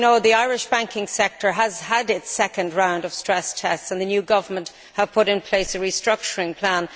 As you know, the Irish banking sector has had its second round of stress tests and the new government has put in place a restructuring plan.